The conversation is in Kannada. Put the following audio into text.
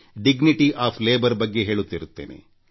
ಮಾಡುವ ಕೆಲಸದ ಬಗ್ಗೆ ಗೌರವದಬಗ್ಗೆ ಹೇಳುತ್ತಿರುತ್ತೇನೆ